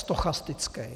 Stochastický.